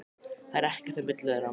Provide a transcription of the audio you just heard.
Það er ekkert á milli þeirra.